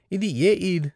ఇది ఏ ఈద్?